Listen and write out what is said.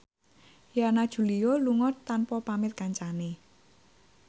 Yana Julio lunga tanpa pamit kancane